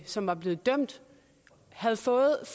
som var blevet dømt havde fået